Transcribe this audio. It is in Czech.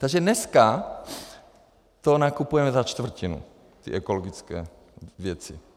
Takže dneska to nakupujeme za čtvrtinu, ty ekologické věci.